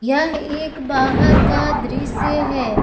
यह एक बाहर का दृश्य है।